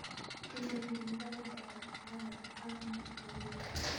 Kikole eng' mbaret ndapata arawek angwan agoi loo